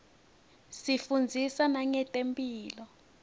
isifundzisa nangetemphilo